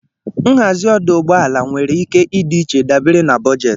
Nhazi ọdụ ụgbọ ala nwere ike ịdị iche dabere na bojetị